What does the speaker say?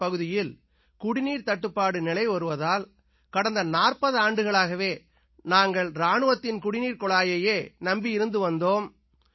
எங்கள் பகுதியில் குடிநீர்த் தட்டுப்பாடு நிலவி வருவதால் கடந்த 40 ஆண்டுகளாகவே நாங்கள் இராணுவத்தின் குடிநீர்க் குழாயையே நம்பி இருந்து வந்தோம்